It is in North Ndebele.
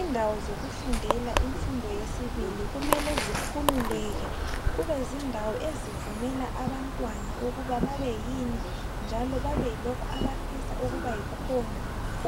Indawo zokufundela imfundo yesibili, kumele zikhululeke kube zindawo ezivumela abantwana ukuba babe yini njalo babe yilokhu abafisa ukuba yikhona